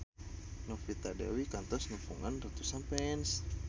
Novita Dewi kantos nepungan ratusan fans